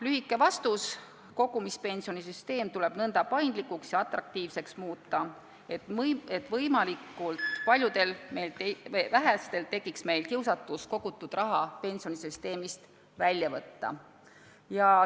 Lühike vastus: kogumispensionisüsteem tuleb nõnda paindlikuks ja atraktiivseks muuta, et võimalikult vähestel tekiks kiusatus kogutud raha pensionisüsteemist välja võtta.